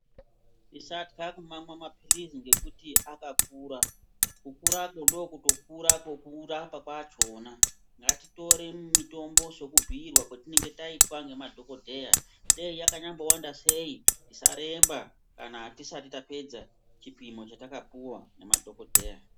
Tisatya kumamwa mapilizi ngekuti akakura ,kukurako ndokutokura kwekurapa kwachona .Ngatitore mutombo sekubhirwa kwatinenge taitwa ngemadhokoteya .Dei yakambowanda sei tisaremba kana tisati tapedza chipimo chatakapuwa ngemadhokoteya.